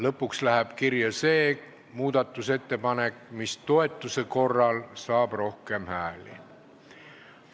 Lõpuks läheb kirja see muudatusettepanek, mis saab toetuse korral rohkem poolthääli.